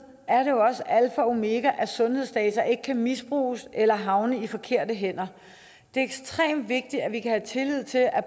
er det jo også alfa og omega at sundhedsdata ikke kan misbruges eller havne i de forkerte hænder det er ekstremt vigtigt at vi kan tillid til at